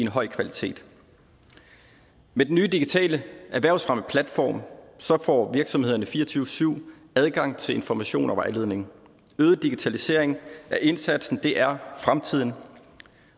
høj kvalitet med den nye digitale erhvervsfremmeplatform får virksomhederne fire og tyve syv adgang til information og vejledning øget digitalisering af indsatsen er fremtiden